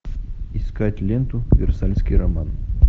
искать ленту версальский роман